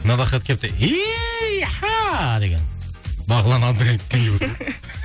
мынадай хат келіпті деген бағлан абдырайымовтан келіп отыр